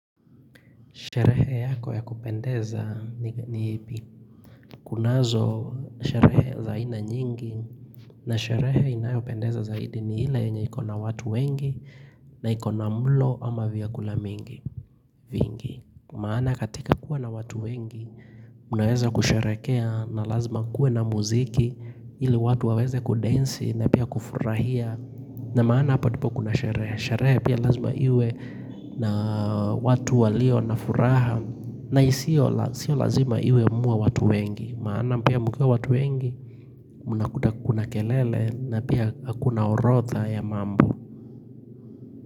Sherehe yako ya kupendeza ni kunazo sherehe za aina nyingi na sherehe inayo pendeza zaidi ni ile yenye ikona watu wengi na ikona mlo ama vyakula mingi vingi. Maana katika kuwa na watu wengi unaweza kusherehekea na lazima kuwe na muziki ili watu waweze kudansi na pia kufurahia na maana hapa tupo kuna sherehe. Sherehe pia lazima iwe na watu walio na furaha na isio lazima iwe muwe watu wengi Maana pia mkiwa watu wengi Muna kuna kelele na pia kuna orotha ya mambo.